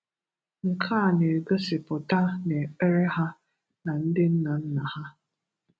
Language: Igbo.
Nke a na-ègosìpùtà na ekpere ha na ndị nna nna ha.